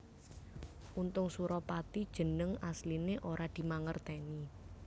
Untung Suropati jeneng asliné ora dimangertèni